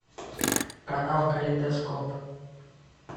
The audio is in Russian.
канал калейдоскоп